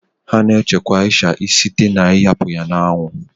Sun drying is the main process used for the preservation of crayfish